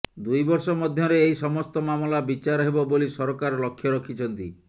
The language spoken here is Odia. ଦୁଇ ବର୍ଷ ମଧ୍ୟରେ ଏହି ସମସ୍ତ ମାମଲା ବିଚାର ହେବ ବୋଲି ସରକାର ଲକ୍ଷ୍ୟ ରଖିଛନ୍ତି